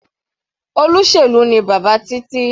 Olóṣèlú ni bàbá Títí.